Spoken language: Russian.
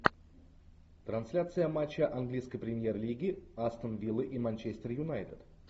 трансляция матча английской премьер лиги астон виллы и манчестер юнайтед